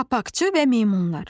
Papaqçı və meymunlar.